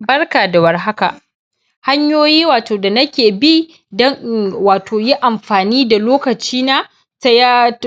Barka da warhaka. Hanyoyi wato da nake bi dun in wato yi amfani da lokacina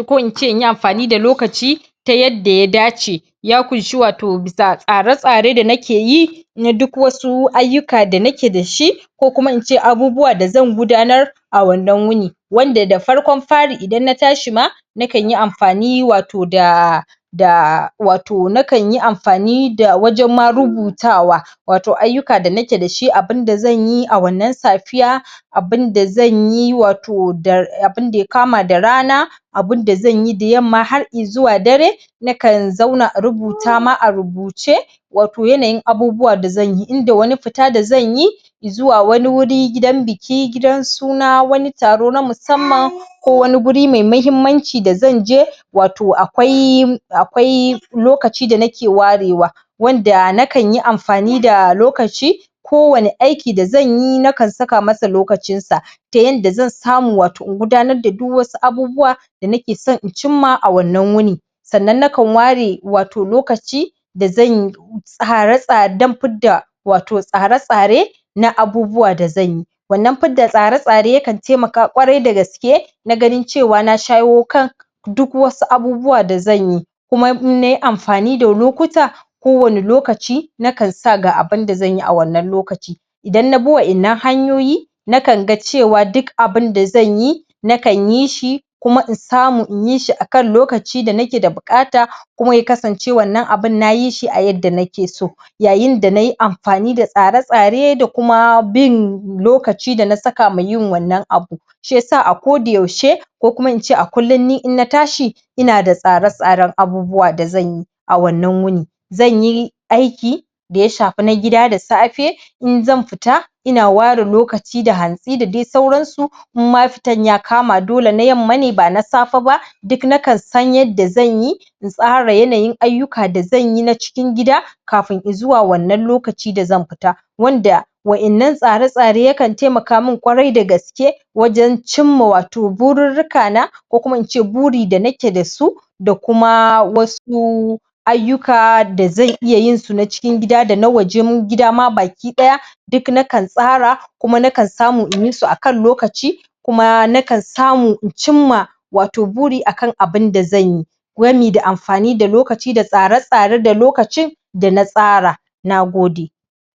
ko in ce in yi amfani da lokaci ta yadda ya dace. Ya ƙunshi wato bisa tsare-tsare da nake yi na duk wasu ayyuka da nake da shi ko kuma in ce abubuwan da zan gudanar a wannan wuni. Wanda da farkon fari idan na tashi ma na kan yi amfani wato da da wato na kan yi amfani da wajen ma rubutawa, wato ayyuka da nake da shi abun da zan yi a wannan safiya, abunda zan yi wato da abun da ya kama da rana abun da zanyi da yamma har izuwa dare nakan zauna in rubuta ma a rubuce wato yanayin abubuwa da zan yi inda wani fita da zan yi zuwa wani wuri, gidan biki, gidan suna, wani taro na musamman ko wani guri mai mahimmanci da zan je wato akwai er akwai lokaci da nake warewa wanda nakan yi amfani da lokaci ko wane aiki da zan yi nakan saka masa lokacin sa, ta yanda zan samu wato in gudanar da duk wasu abubuwa da nake son in cimma a wannan wuni. Sannan nakan ware wato lokaci da zanyi tare-tsare dan fidda wato tsare-tsare na abubuwa da zan yi. Wannan fa da tsare-tsare yakan taimaka ƙwarai da gaske na ganin cewa na shaywo kan duk wasu abubuwa da zan yi. Kuma in na yi amfani da lokuta ko wane lokaci nakan sa ga abunda zan yi a wannan lokaci. Idan na bi wainnan hanyoyi, nakan ga cewa duk abun da zan yi nakan yi shi kuma in samu in yi shi akan lokaci da nake da buƙata kuma ya kasance wannan abun na yi shi a yadda nake so. Yayin da na yi amfani da tsare-tsare da kuma bin lokaci da na saka ma yin wannan abu. Shi yasa a ko da yaushe ko kuma in ce a kullun ni in na tashi ina da tsare-tsaren abubuwa da zan yi a wannan wuni. Zan yi aiki da ya shafi na gida da safe in zan fita ina ware lokaci da hantsi da dai sauransu inma fitan ya kama dole na yamma ne ba na safe ba duk nakan san yadda zan yi in tsara yanayin ayyuka da zan yi na cikin gida kafin zuwa wannan lokaci da zan fita. Wanda wainnan tsare-tsare yakan taimaka mun ƙwarai da gaske wajen cinma wato bururruka na ko kuma in ce buri da nake dasu da kuma wasu ayyuka da zan iya yin su na cikin gida da na wajen mu gida ma baki ɗaya duk nakan tsara kuma nakan samu in yi su akan lokaci kuma nakan samu in cimma wato buri akan abun da zanyi, gwami da amfani da lokaci da tsare-tsare da lokacin da na tsara. Nagode.